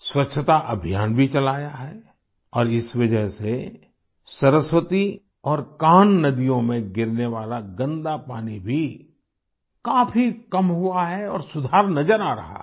स्वच्छता अभियान भी चलाया है और इस वजह से सरस्वती और कान्ह नदियों में गिरने वाला गन्दा पानी भी काफी कम हुआ है और सुधार नज़र आ रहा है